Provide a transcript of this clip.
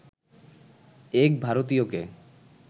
এক ভারতীয়কে